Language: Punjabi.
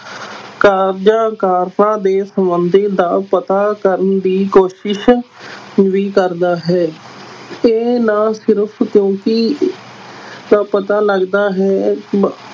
ਕਾਰਜਾਂ ਕਾਰਨਾਂ ਦੇ ਸੰਬੰਧ ਦਾ ਪਤਾ ਕਰਨ ਦੀ ਕੋਸ਼ਿਸ਼ ਵੀ ਕਰਦਾ ਹੈ ਤੇ ਨਾ ਸਿਰਫ਼ ਕਿਉਂਕਿ ਦਾ ਪਤਾ ਲੱਗਦਾ ਹੈ ਬ~